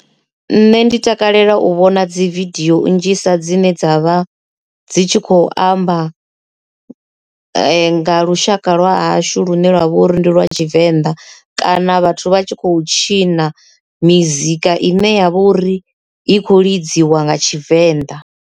Nṋe ndi takalela u vhona dzividiyo nnzhisa dzine dzavha dzi tshi khou amba nga lushaka lwa hashu lune lwavha uri ndi lwa Tshivenḓa kana vhathu vha tshi khou tshina mizika ine ya vha uri i khou lidziwa nga Tshivenḓa.